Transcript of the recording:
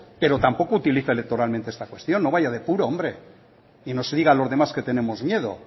pero tampoco utilice electoralmente esta cuestión no vaya de puro hombre y no se diga a los demás que tenemos miedo